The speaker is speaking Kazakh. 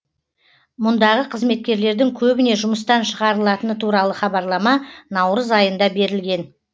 мұндағы қызметкерлердің көбіне жұмыстан шығарылатыны туралы хабарлама наурыз айында берілген